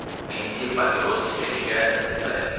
Mehdi papiros çəkə-çəkə qəzeti vərəqləyirdi.